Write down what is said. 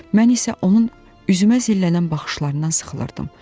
Mən isə onun üzümə zillənən baxışlarından sıxılırdım.